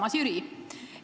Armas Jüri!